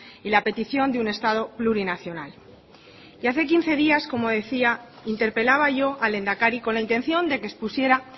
y la petición de un estado plurinacional y hace quince días como decía interpelaba yo al lehendakari con la intención de que expusiera